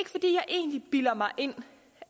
egentlig bilder mig ind